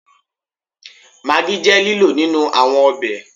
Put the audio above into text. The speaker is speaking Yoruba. Maggi je lilo ninu awọn ọbẹ